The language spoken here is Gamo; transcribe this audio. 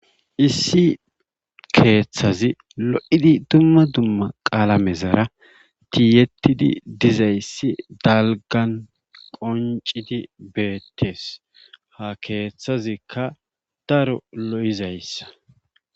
Issi keeththazi lo'idi dumma dumma qalamezara tiyetidi dizayssi dalgan qonccidi beetees. ha keeththazikka daro lo'izayssa.